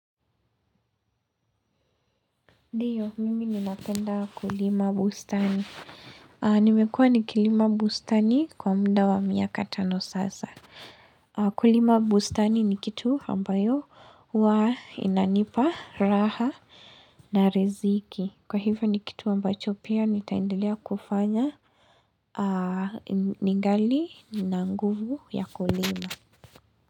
Ndiyo, mimi ninapenda kulima bustani. Nimekuwa nikilima bustani kwa muda wa miaka tano sasa. Kulima bustani nikitu ambayo huwa inanipa raha na riziki. Kwa hiyo nikitu ambacho pia, nitaendelea kufanya. Ningali nina nguvu ya kulima.